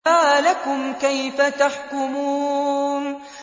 مَا لَكُمْ كَيْفَ تَحْكُمُونَ